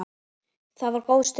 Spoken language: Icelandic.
Það var góð stund.